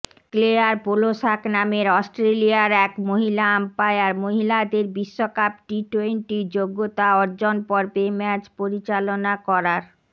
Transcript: Claire Polosak নামের অস্ট্রেলিয়ার এক মহিলা আম্পয়ার মহিলাদের বিশ্বকাপ টি টোয়েন্টি যোগ্যতাঅর্জনপর্বে ম্যাচ পরিচালনা করার